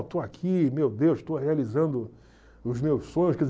Eu estou aqui, meu Deus, estou realizando os meus sonhos.